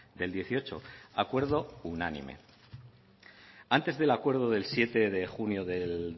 del dieciocho acuerdo unánime antes del acuerdo del siete de junio del